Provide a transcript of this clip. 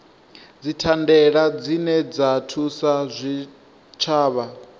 dzithandela dzine dza thusa zwitshavha